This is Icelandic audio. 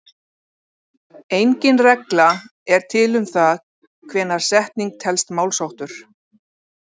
Engin regla er til um það hvenær setning telst málsháttur.